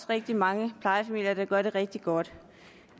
rigtig mange plejefamilier der gør det rigtig godt